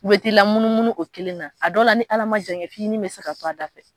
U bɛ t'i lamunumunu o kelen na a dɔ la ni Ala ma jan kɛ f'i ni bɛ se ka to a da fɛ